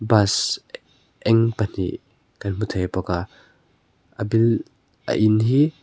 bus eng pahnih kan hmu thei bawk a a buil a in hi.